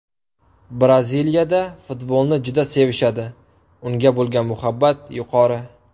Braziliyada futbolni juda sevishadi, unga bo‘lgan muhabbat yuqori.